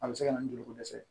A bɛ se ka na ni joliko dɛsɛ ye